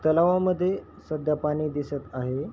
तलावामध्ये सध्या पाणी दिसत आहे.